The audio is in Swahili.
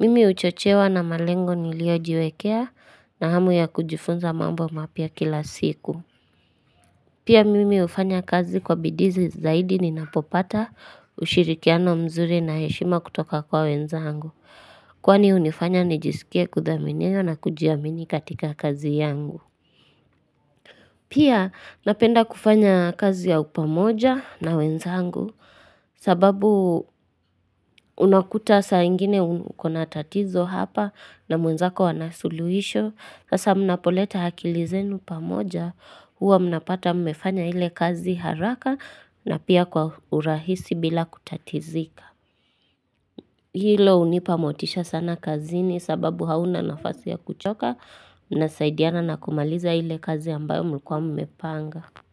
Mimi uchochewa na malengo niliojiwekea na hamu ya kujifunza mambo mapya kila siku. Pia mimi hufanya kazi kwa bidizi zaidi ninapopata ushirikiano mzuri na heshima kutoka kwa wenzangu. Kwani unifanya nijisikia kudhaminiwa na kujiamini katika kazi yangu. Pia napenda kufanya kazi ya upamoja na wenzangu sababu unakuta saingine ukona tatizo hapa na mwenzako ana suluhisho. Sasa mnapoleta akili zenu pamoja huwa mnapata mmefanya ile kazi haraka na pia kwa urahisi bila kutatizika. Hilo unipa motisha sana kazini sababu hauna nafasi ya kuchoka na saidiana na kumaliza hile kazi ambayo mlikuwa mmepanga.